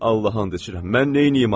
Allaha and içirəm, mən neyniyim axı?